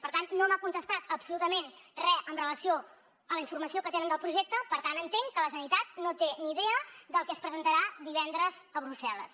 per tant no m’ha contestat absolutament re amb relació a la informació que tenen del projecte per tant entenc que la generalitat no té ni idea del que es presentarà divendres a brussel·les